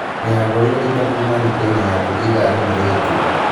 Nĩ agũrĩre indo kuuma nduka-inĩ yaku ithaa rĩmwe rĩhĩtũku